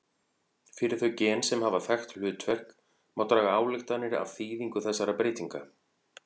Fyrir þau gen sem hafa þekkt hlutverk má draga ályktanir af þýðingu þessara breytinga.